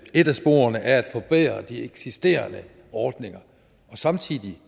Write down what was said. et af sporene er at forbedre de eksisterende ordninger og samtidig